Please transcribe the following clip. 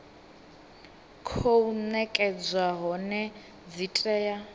khou nekedzwa hone dzi tea